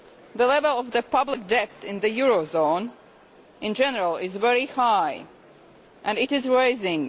The level of public debt in the eurozone in general is very high and it is rising.